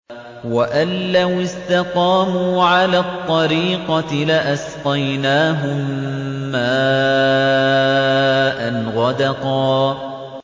وَأَن لَّوِ اسْتَقَامُوا عَلَى الطَّرِيقَةِ لَأَسْقَيْنَاهُم مَّاءً غَدَقًا